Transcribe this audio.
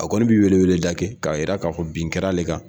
A kɔni bɛ weleweleda kɛ k'a jira k'a fɔ bin kɛra ale kan